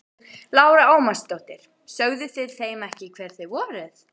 Lára Ómarsdóttir: Sögðuð þið þeim ekki hver þið voruð?